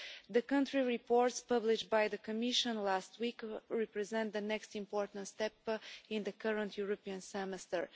The Country Reports published by the Commission last week represent the next important step in the current European Semester.